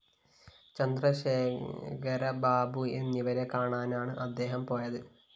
ചന്ദ്രശേഖരബാബു എന്നിവരെ കാണാനാണ്‌ അദ്ദേഹം പോയത്‌